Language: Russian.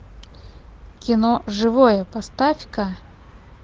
кино живое поставь ка